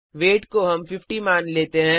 wait का मान 50 मान लेते हैं